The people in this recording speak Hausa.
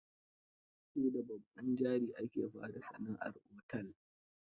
Sai da babban jari ake fara sana'ar otel.